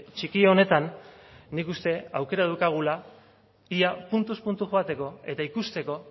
txiki honetan nik uste aukera daukagula ia puntuz puntu joateko eta ikusteko